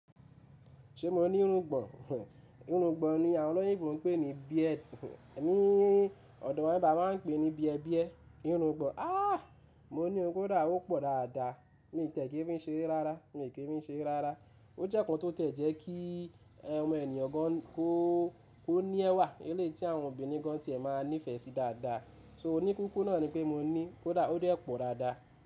Ṣé mo ní irungbọ̀n? Irungbọ̀n ni àwọn olóyìnbo ń pè ní beards, ní ọ̀dọ̀ wa ni ibibayi a máa ń pè ní bíẹbíẹ. Irungbọ̀n, áàá mo ní ò, ko da, ó pọ̀ dáadáa, mo tiẹ̀ kí n fi ṣere rárá, mi o ki fi í ṣere rárá. O jẹ́ nnkán tó tiẹ́ jẹ́ kí omo ènìyàn gan kó ní ẹwà, eléyii ti àwọn obìnrin gan ti ẹ máa nífẹ̀ẹ́ sí dáadáa. So oníkukú náà ni pé mo ní, kó dá, ó de pọ̀ dáadáa.